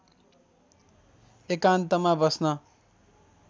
एकान्तमा बस्न